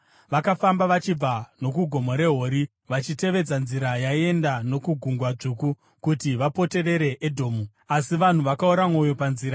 Vakafamba vachibva nokuGomo reHori vachitevedza nzira yaienda nokuGungwa Dzvuku, kuti vapoterere Edhomu. Asi vanhu vakaora mwoyo panzira;